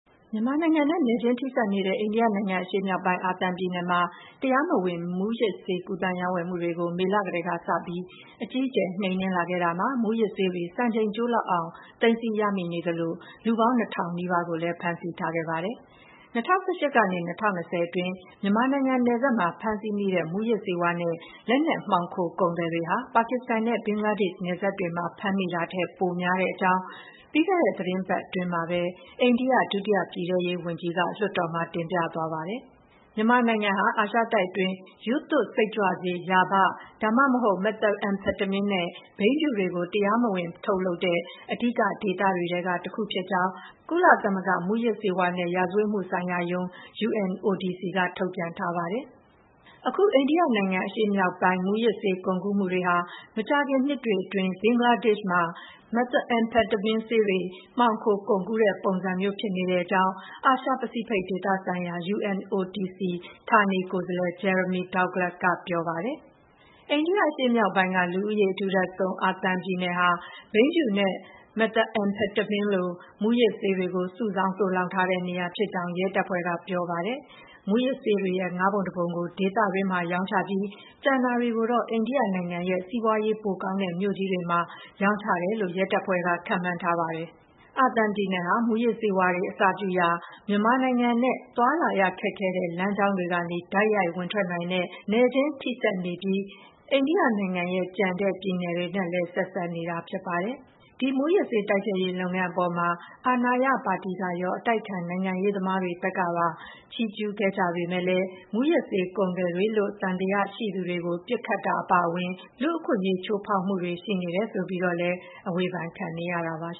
မြန်မာနိုင်ငံနဲ့ နယ်ချင်းထိစပ်နေတဲ့ အိန္ဒိယနိုင်ငံအရှေ့မြောက်ပိုင်း အာသံပြည်နယ်မှာ တရားမဝင် မူးယစ်ဆေး ကူးသန်းရောင်းဝယ်မှုတွေကို မေလကတည်းကစပြီး အကြီးအကျယ် နှိမ်နင်းလာခဲ့တာမှာ မူးယစ်ဆေးတွေ စံချိန်ကျိုးလောက်အောင် သိမ်းဆည်းရမိနေသလို လူပေါင်း ၂ ထောင်နီးပါးကိုလည်း ဖမ်းဆီးခဲ့ပါတယ်။ ၂၀၁၈ ကနေ ၂၀၂၀ အတွင်း မြန်မာနိုင်ငံနယ်စပ်မှာ ဖမ်းဆီးမိတဲ့ မူးယစ်ဆေးဝါးနဲ့ လက်နက်မှောင်ခိုကုန်သည်တွေဟာ ပါကစ္စတန်နဲ့ ဘင်္ဂလားဒေ့ရှ်နယ်စပ်တွေမှ ာဖမ်းမိတာထက် ပိုများကြောင်း ပြီးခဲ့တဲ့သီတင်းပတ်အတွင်းမှာပဲ အိန္ဒိယ ဒုတိယပြည်ထဲရေးဝန်ကြီးက လွှတ်တော်မှာ တင်ပြသွားပါတယ်။ မြန်မာနိုင်ငံဟာ အာရှတိုက်တွင်း ရူးသွပ်စိတ်ကြွဆေး ရာဘ ဒါမှမဟုတ် မက်သက်အမ်ဖက်တမင်းနဲ့ ဘိန်းဖြူတွေကို တရားမဝင်ထုတ်လုပ်တဲ့ အဓိကဒေသတွေထဲက တခုဖြစ်ကြောင်း ကုလ သမဂ္ဂ မူးယစ်ဆေးဝါးနဲ့ရာဇဝတ်မှုဆိုင်ရာရုံး က ထုတ်ပြန်ထားပါတယ်။ အခု အိန္ဒိယအရှေ့မြောက်ပိုင်း မူးယစ်ဆေးကုန်ကူးမှုတွေဟာ မကြာခင်နှစ်တွေအတွင်း ဘင်္ဂလားဒေ့ရှ်မှာ မက်သ်အမ်ဖက်တမင်းဆေးတွေ မှောင်ခိုကုန်ကူးတဲ့ပုံစံမျိုးဖြစ်နေကြောင်း အာရှ ပစိဖိတ်ဒေသဆိုင်ရာ UNODC ဌာနေကိုယ်စားလှယ် Jeremy Douglas က ပြောပါတယ်။ အိန္ဒိယအရှေ့မြောက်ပိုင်းက လူဦးရေအထူထပ်ဆုံး ာသံပြည်နယ်ဟာ ဘိန်းဖြူနဲ့ မက်သ်အမ်ဖက်တမင်းလို မူးယစ်ဆေးတွေကို စုဆောင်းသိုလှောင်ထားတဲ့နေရာဖြစ်ကြောင်း ရဲတပ်ဖွဲ့က ပြောပါတယ်။ မူးယစ်ဆေးတွေရဲ့ ၅ ပုံ ၁ ပုံကို ဒေသတွင်းမှာ ရောင်းချပြီး ကျန်တာတွေကိုတော့ အိန္ဒိယနိုင်ငံရဲ့ စီးပွါးရေးပိုကောင်းတဲ့ မြို့ကြီးတွေမှာ ရောင်းချတယ်လို့ ရဲတပ်ဖွဲ့က ခန့်မှန်းထားပါတယ်။ အာသံပြည်နယ်ဟာ မူးယစ်ဆေးဝါးတွေအစပြုရာ မြန်မာနိုင်ငံနဲ့ သွားလာရခက်ခဲတဲ့ လမ်းကြာင်းတွေကနေ တိုက်ရိုက်ဝင်ထွက်နိုင်တဲ့ နယ်ချင်းထိစပ်နေပြီး အိန္ဒိယနိုင်ငံရဲ့ ကျန်တဲ့ပြည်နယ်တွေနဲ့ လည်း ဆက်စပ်နေတာဖြစ်ပါတယ်။ ဒီမူးယစ်ဆေးတိုက်ဖျက်ရေးလုပ်ငန်းအပေါ်မှာ အာဏာရပါတီကရော အတိုက်အခံနိုင်ငံရေးသမားတွေဘက်ကပါ ချီးကျူးကြပေမယ့်လည်း မူးယစ်ဆေးကုန်သည်တွေလို့ သံသယရှိသူတွေကို ပစ်ခတ်တာအပါအဝင် လူ့အခွင့်အရေးချိုးဖောက်မှုတွေ ရှိနေတယ်ဆိုပြီးတော့လည်း အဝေဖန်ခံနေရတာပါ။